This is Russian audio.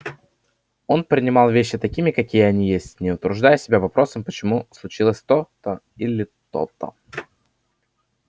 он принимал вещи такими как они есть не утруждая себя вопросом почему случилось то то или то то